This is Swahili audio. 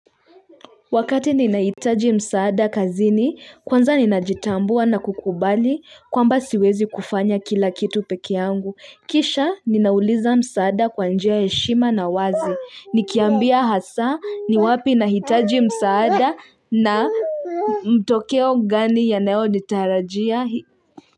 Wakati ninahitaji msaada kazini, kwanza ninajitambua na kukubali kwamba siwezi kufanya kila kitu peke yangu. Kisha ninauliza msaada kwa njia ya heshima na wazi. Nikiambia hasa ni wapi nahitaji msaada na mtokeo gani yanayo nitarajia.